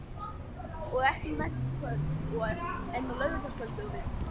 Og ekki næsta kvöld, en á laugardagskvöld ef þú vilt.